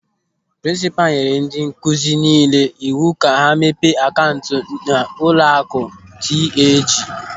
Prinsipal nyere ndị nkụzi niile iwu ka ha mepee akaụntụ n'ụlọakụ TAJ.